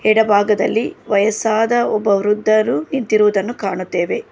ಎಡಭಾಗದಲ್ಲಿ ವಯಸ್ಸಾದ ಒಬ್ಬ ವೃದ್ಧರು ನಿಂತಿರುವುದನ್ನು ಕಾಣುತ್ತೇವೆ.